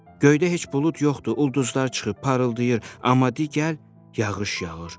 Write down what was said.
Göydə heç bulud yoxdur, ulduzlar çıxıb parıldayır, amma de gəl, yağış yağır.